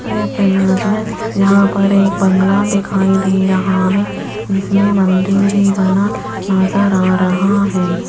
इस इमेज में यहाँ पर एक बंगला दिखाई दे रहा है जिसमें मंदिर भी बना नजर आ रहा है।